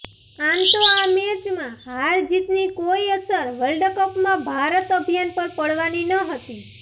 આમ તો આ મેચમાં હાર જીતની કોઈ અસર વર્લ્ડકપમાં ભારત અભિયાન પર પડવાની નહતી